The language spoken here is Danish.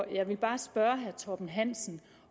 jeg vil bare spørge herre torben hansen